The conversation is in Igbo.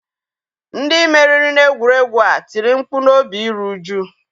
Ndị meriri n'egwuregwu a tiri mkpu n'obi iru uju.